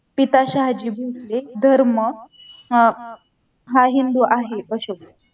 पिता शहाजी भोसले धर्म अह हा हिंदू आहे